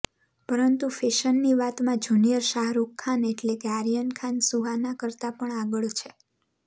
પરંતુ ફેશનની વાતમાં જૂનિયર શાહરૂખ ખાન એટલે કે આર્યન ખાન સુહાના કરતા પણ આગળ છે